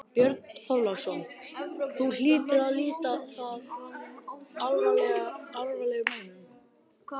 Björn Þorláksson: Þú hlýtur að líta það alvarlegum augum?